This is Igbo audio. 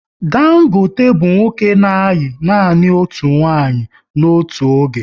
Dangote bụ nwoke na ayi nanị otu nwanyị n'otu oge